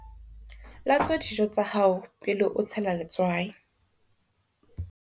Latswa dijo tsa hao pele o tshela letswai.